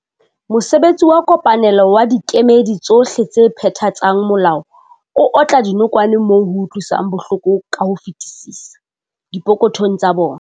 Mosebetsi wa kopanelo wa dikemedi tsohle tse phethatsang molao o otla dinokwane moo ho utlwisang bohloko ka ho fetisisa- dipokothong tsa bona.